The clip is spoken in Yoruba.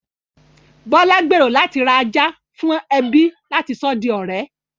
Bọ́lá gbèrò láti ra ajá fún ẹbí láti sọ di ọ̀rẹ́